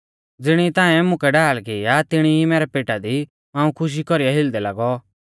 ज़िणी ई ताऐं मुकै ढाल की आ तिणी ई मैरै पेटा दी मांऊ खुशी कौरीऐ हिलदै लागौ